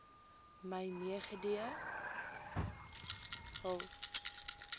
my meegedeel hul